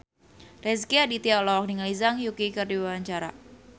Rezky Aditya olohok ningali Zhang Yuqi keur diwawancara